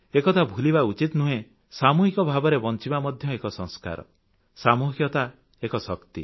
ଏକଥା ଭୁଲିବା ଉଚିତ ନୁହେଁ ସାମୁହିକ ଭାବରେ ବଂଚିବା ମଧ୍ୟ ଏକ ସଂସ୍କାର ସାମୁହିକତା ଏକ ଶକ୍ତି